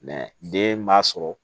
den b'a sɔrɔ